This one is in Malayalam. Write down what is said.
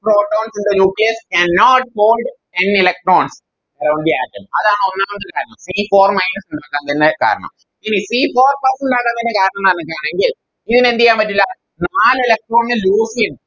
Protons in the nucleus cannot bond ten electrons on the atom അതാണ് ഒന്നാമത്തെ കാരണം C four minus കാരണം ഇനി Four plus ന്റെ കാരണമെന്താണ് പറഞ്ഞിക്കാണെങ്കിൽ ഇങ്ങനെ എന്തെയ്യൻ പറ്റില്ല നാല് Electron നെ Loss ചെയ്യാൻ